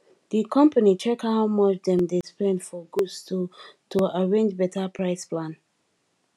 the company check how much dem dey spend for goods to to arrange better price plan